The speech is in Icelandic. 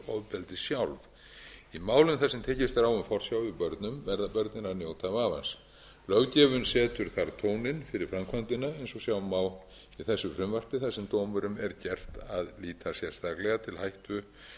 í málum þar sem tekist er á um forsjá yfir börnum verða börnin að njóta vafans löggjöfin setur þar tóninn fyrir framkvæmdina eins og sjá má í þessu frumvarpi þar sem dómurum er gert að líta sérstaklega til hættu á